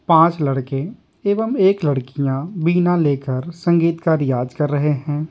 पांच लड़के एवं एक लड़कियां बीना लेकर संगीत का रियाज कर रहे हैं।